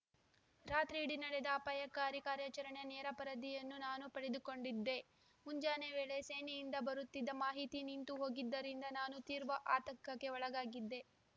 ರಾತ್ರಿಯಿಡಿ ನಡೆದ ಅಪಾಯಕಾರಿ ಕಾರ್ಯಾಚರಣೆಯ ನೇರ ಪರದಿಯನ್ನು ನಾನು ಪಡೆದುಕೊಂಡಿದ್ದೆ ಮುಂಜಾನೆ ವೇಳೆ ಸೇನೆಯಿಂದ ಬರುತ್ತಿದ್ದ ಮಾಹಿತಿ ನಿಂತು ಹೋಗಿದ್ದರಿಂದ ನಾನು ತೀವ್ರ ಆತಂಕಕ್ಕೆ ಒಳಗಾಗಿದ್ದೆ